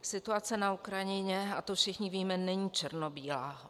Situace na Ukrajině, a to všichni víme, není černobílá.